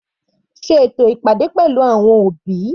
Sé ètò ìpàdé pẹ̀lú àwọn òbí.